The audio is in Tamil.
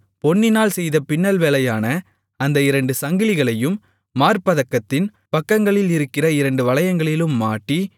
பொன்னினால் செய்த பின்னல் வேலையான அந்த இரண்டு சங்கிலிகளையும் மார்ப்பதக்கத்தின் பக்கங்களில் இருக்கிற இரண்டு வளையங்களிலும் மாட்டி